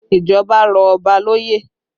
Ìjọba rọ̀ Ọba lóye